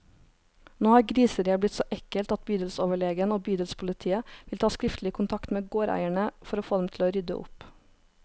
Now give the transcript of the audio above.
Nå har griseriet blitt så ekkelt at bydelsoverlegen og bydelspolitiet vil ta skriftlig kontakt med gårdeierne, for å få dem til å rydde opp.